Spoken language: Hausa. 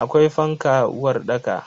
Akwai fanka a uwarɗaka.